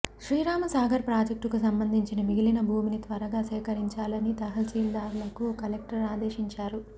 శ్రీరామ సాగర్ ప్రాజెక్టుకు సంబంధించిన మిగిలిన భూమిని త్వరగా సేకరించాలని తహశీల్దార్లను కలెక్టర్ ఆదేశించారు